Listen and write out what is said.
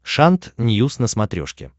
шант ньюс на смотрешке